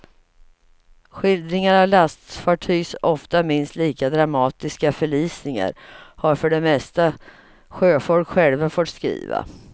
Skildringar av lastfartygs ofta minst lika dramatiska förlisningar har för det mesta sjöfolk själva fått skriva.